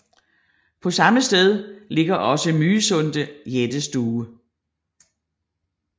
På samme sted ligger også Mysunde jættestue